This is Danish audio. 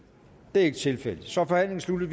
det er ikke tilfældet så er forhandlingen sluttet